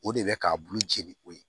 O de bɛ k'a bulu jeni ko ye